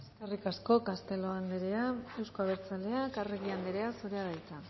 eskerrik asko castelo anderea euzko abertzaleak arregi anderea zurea da hitza